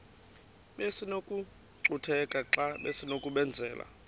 besinokucutheka xa besinokubenzela